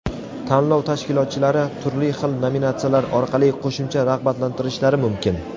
Tanlov tashkilotchilari turli xil nominatsiyalar orqali qo‘shimcha rag‘batlantirishlari mumkin!.